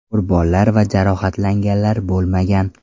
Qurbonlar va jarohatlanganlar bo‘lmagan.